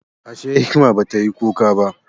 Ashe, hikima ba ta yi kuka ba?